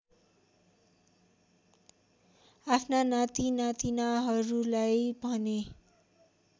आफ्ना नातिनातिनाहरूलाई भने